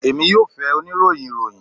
Emi yoo fẹ onirohin iroyin